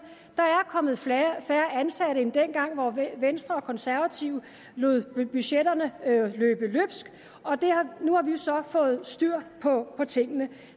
der er kommet færre ansatte end dengang hvor venstre og konservative lod budgetterne løbe løbsk og nu har vi så fået styr på tingene